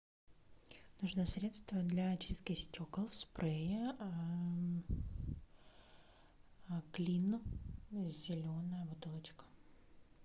нужно средство для очистки стекол спрей клин зеленая бутылочка